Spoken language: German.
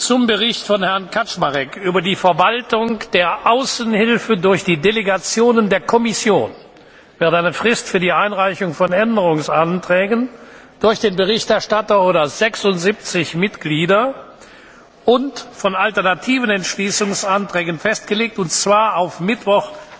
Zum Bericht von Herrn Kaczmarek über die Verwaltung der Außenhilfe durch die Delegationen der Kommission wird eine Frist für die Einreichung von Änderungsanträgen durch den Berichterstatter oder 76 Mitglieder und von alternativen Entschließungsanträgen festgelegt, und zwar auf Mittwoch,